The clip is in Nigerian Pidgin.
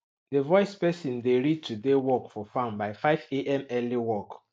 the voice person dey read today work for farm by 5am early work